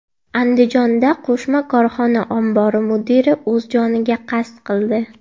Andijonda qo‘shma korxona ombori mudiri o‘z joniga qasd qildi.